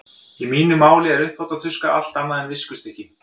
Í mínu máli er uppþvottatuska allt annað en viskustykki.